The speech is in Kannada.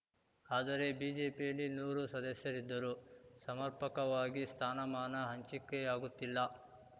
ಆದರೆ ಬಿಜೆಪಿಯಲ್ಲಿ ನೂರು ಸದಸ್ಯರಿದ್ದರೂ ಸಮರ್ಪಕವಾಗಿ ಸ್ಥಾನಮಾನ ಹಂಚಿಕೆಯಾಗುತ್ತಿಲ್ಲ